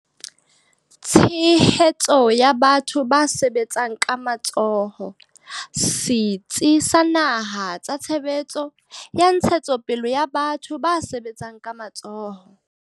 Tshehetso ya batho ba sebetsang ka matsoho, Setsi sa Naha sa Tshehetso ya Ntshetsopele ya Batho ba Sebetsang ka Matsoho.